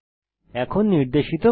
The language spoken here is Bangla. এখন নির্দেশিত কাজ